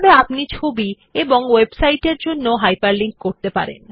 একইভাবে আপনি ছবি এবং ওয়েবসাইটের জন্য হাইপারলিংক তৈরি করতে পারেন